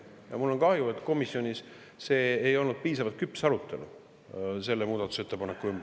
Ja mul on kahju, et komisjonis ei olnud arutelu piisavalt küps selle muudatusettepaneku üle.